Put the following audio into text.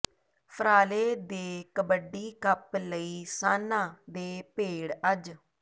ਫਰਾਲੇ ਦੇ ਕਬੱਡੀ ਕੱਪ ਲਈ ਸਾਨ੍ਹਾਂ ਦੇ ਭੇੜ ਅੱਜ